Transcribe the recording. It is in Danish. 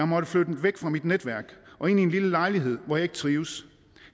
måttet flytte væk fra mit netværk og ind i en lille lejlighed hvor jeg ikke trives